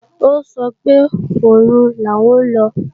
Ó sọ pé òru làwọn lọ